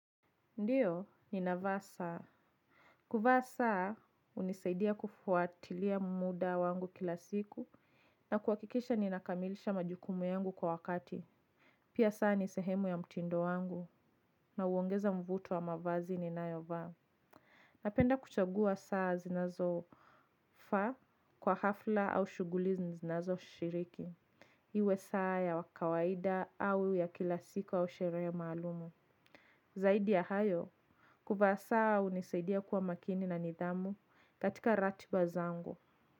Ndiyo, nina vaa saa. Kuvaa saa, unisaidia kufuatilia muda wangu kila siku. Na kuwakikisha ninakamilisha majukumu yangu kwa wakati. Pia saa ni sehemu ya mtindo wangu. Na uongeza mvuto wa mavazi ninayovaa. Napenda kuchagua saa zinazo faa kwa hafla au shuguli zinazo shiriki. Iwe saa ya kawaida au ya kila siku au sherehe maalumu. Zaidi ya hayo. Kuvaa saa unisaidia kuwa makini na nidhamu katika ratiba zangu.